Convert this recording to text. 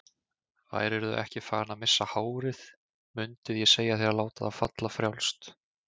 Værirðu ekki farinn að missa hárið mundið ég segja þér að láta það falla frjálst.